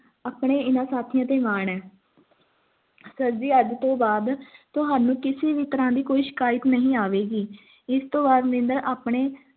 ਆਪਣੇ ਇਨ੍ਹਾਂ ਹਾਥੀਆਂ ਤੇ ਮਾਨ ਹੈ sir ਜੀ ਅੱਜ ਤੋਂ ਬਾਅਦ ਤੁਹਾਨੂੰ ਕਿਸੇ ਵੀ ਤਰ੍ਹਾਂ ਦੀ ਕੋਈ ਸ਼ਿਕਾਇਤ ਨਹੀਂ ਆਵੇਗੀ ਇਸ ਤੋਂ ਬਾਅਦ ਮਨਿੰਦਰ ਆਪਣੇ